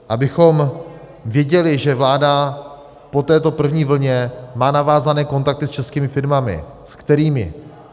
Abychom věděli, že vláda po této první vlně má navázané kontakty s českými firmami, s kterými.